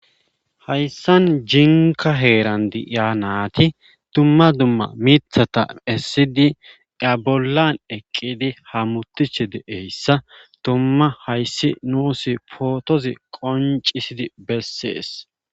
Hayssan jinka heeran diya naati dumma dumma miithata essidi da bollan eqqidi ha mutiche deeyssa tumma hayssi nuusi pootozi qoncisidi bessees.